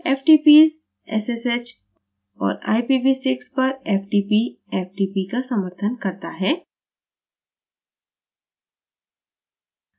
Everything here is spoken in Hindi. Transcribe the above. ftps ssh और ipv6 पर ftp ftp का समर्थन करता है